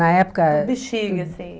Na época... Do bexiga, assim.